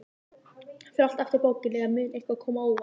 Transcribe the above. Fer allt eftir bókinni, eða mun eitthvað koma á óvart?